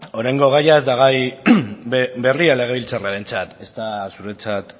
orain gaia ez da gai berria legebiltzarrarentzat ezta zuretzat